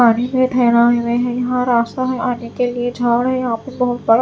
पानी में ठहरा हुए हैं यहां रास्ता में आने के लिए झाड़ है यहां पे बहुत सारा--